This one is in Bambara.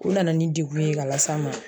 U nana ni degun ye ka las'a ma.